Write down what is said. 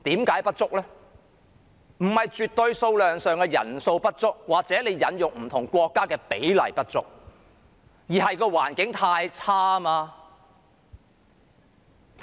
這並非絕對數量上的人數不足，或引用不同國家比例上的不足，而是環境太惡劣。